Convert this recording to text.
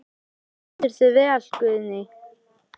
Þú stendur þig vel, Guðný!